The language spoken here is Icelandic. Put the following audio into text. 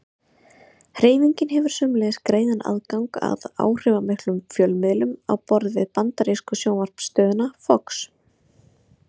Hreyfingin hefur sömuleiðis greiðan aðgang að áhrifamiklum fjölmiðlum á borð við bandarísku sjónvarpsstöðina Fox.